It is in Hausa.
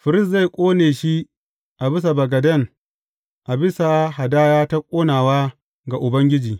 Firist zai ƙone shi a bisa bagaden a bisa hadaya ta ƙonawa ga Ubangiji.